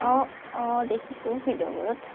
অ অ দেখিছোঁ video বোৰত